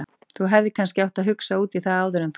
Þú hefðir kannski átt að hugsa út í það áður en þú.